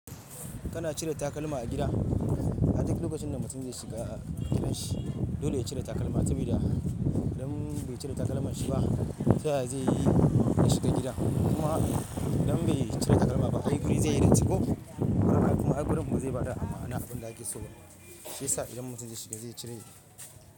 Kana cire takalma a gida. A dik lokacin da mutum zai shiga gidan shi dole ya cire takalma sabi da. Idan bai cire takalman shi ba, taya zai yi da shiga gida? Kuma idan bai cire takalma ba, ai guri zai yi datti koh. Saboda ai gurin bazai bada ma'ana abin da ake so. Shi yasa idan mutum zai shiga zai cire shi.